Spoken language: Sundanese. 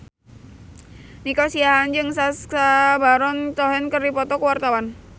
Nico Siahaan jeung Sacha Baron Cohen keur dipoto ku wartawan